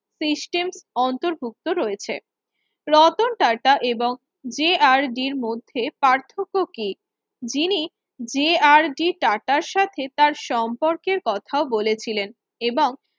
System অন্তর্ভুক্ত রয়েছে রতন টাটা এবং যে আর ডি টাটা এর মধ্যে পার্থক্য কি যিনি যে আর ডি টাটার সঙ্গে তার সম্পর্কের কথাও বলেছিলেন এবং